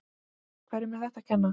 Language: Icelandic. Hverjum er þetta að kenna?